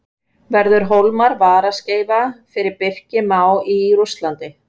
Verður Hólmar varaskeifa fyrir Birki Má í Rússlandi?